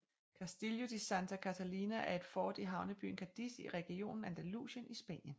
Castillo de Santa Catalina er et fort i havnebyen Cadiz i regionen Andalusien i Spanien